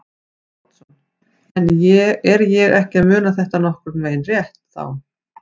Davíð Oddsson: En er ég ekki að muna þetta nokkurn veginn rétt þá?